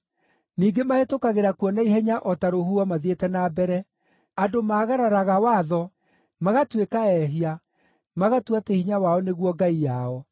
Ningĩ mahĩtũkagĩra kuo na ihenya o ta rũhuho mathiĩte na mbere: andũ maagararaga watho, magatuĩka ehia, magatua atĩ hinya wao nĩguo ngai yao.”